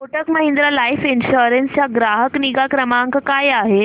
Kotak Mahindra life insurance चा ग्राहक निगा क्रमांक काय आहे